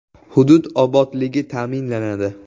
Hudud obodligi ta’minlanadi.